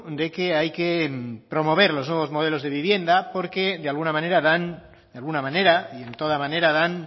de que hay que promover los nuevos modelos de vivienda porque de alguna manera de alguna manera y en toda manera dan